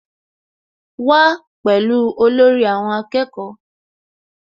Wá pẹ̀lú olórí àwọn akẹ́kọ̀ọ́